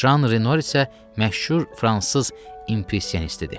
Jan Renoir isə məşhur fransız impressionistidir.